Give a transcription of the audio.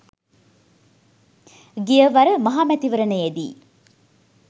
ගියවර මහ මැතිවරණයේදී